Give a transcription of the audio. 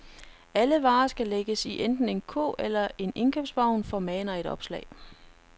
Alle varer skal lægges i enten en kurv eller en indkøbsvogn, formaner et opslag.